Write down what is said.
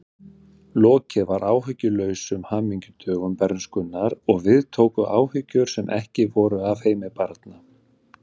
Lokið var áhyggjulausum hamingjudögum bernskunnar og við tóku áhyggjur sem ekki voru af heimi barna.